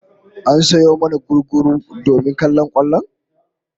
An sayo mana gugguru domin kallon kwallon